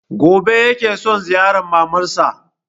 Gobe ya ke son ziyarar maman sa